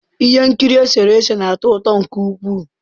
Ihe nkiri eserese na-atọ ụtọ nke ukwuu.